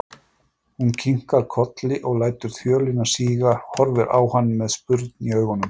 Hún kinkar kolli og lætur þjölina síga, horfir á hann með spurn í augunum.